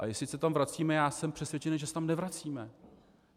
A jestli se tam vracíme - já jsem přesvědčený, že se tam nevracíme.